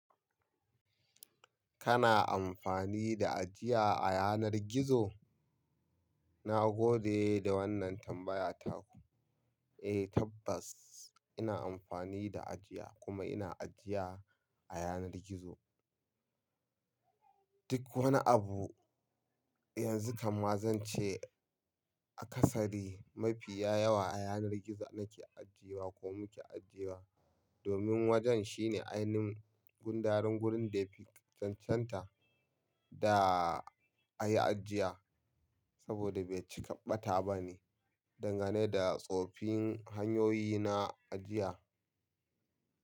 Kana amfani da ajiya a yanar gizo? Na gode da wannan tambaya taku. Eh tabbas ina amfani da ajiya kuma ina ajiya a yanar gizo. Duk wani abu yanzu kamma zan ce a kasari mafiya yawa a yanar gizo nake ajiyewa ko muke ajiyewa. Domin wajen shine ainihin gundarin wurin da ya fi chanchanta da a yi ajiya saboda bai cika ɓata ba ne dangane da tsofin hanyoyi na ajiya.